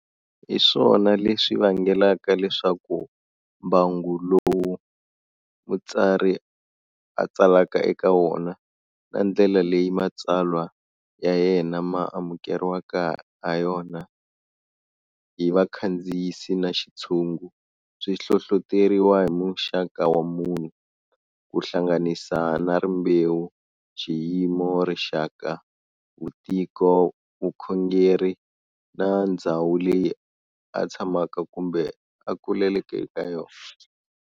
Hiswona leswi vangelaka leswaku, mbangu lowu mutsari a tsalaka eka wona, na ndlela leyi matsalwa ya yena ma amukeriwaka ha yina hi vakhandziyisi na xitshungu, swi hlohloteriwa hi muxaka wa munhu, kuhlanganisa na rimbewu, xiyimo, rixaka, vutiko, vukhongeri na ndzhawu leyi a tshamaka kumbe a kuleleke eka yona.